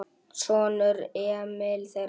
Sonur: Emil Þeyr.